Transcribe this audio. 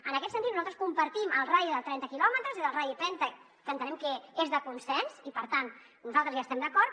en aquest sentit nosaltres compartim el radi de trenta quilòmetres és el radi penta que entenem que és de consens i per tant nosaltres hi estem d’acord